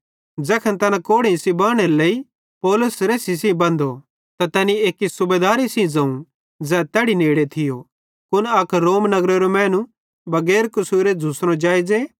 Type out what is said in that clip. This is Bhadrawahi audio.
ज़ैखन तैना कोड़ेइं सेइं बानेरे लेइ पौलुस रेसी सेइं बंधो त तैनी एक्की सूबेदारे सेइं ज़ोवं ज़ै तैड़ी नेड़े थियो कुन अक रोमी नगरेरे मैनू बगैर कसूरे झ़ुसनो जेइज़े